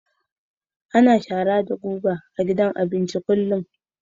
Ana shara da guga a gidan abinci kullum